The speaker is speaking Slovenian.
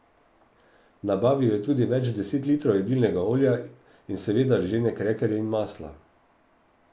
Nabavil je tudi več deset litrov jedilnega olja in seveda ržene krekerje in maslo.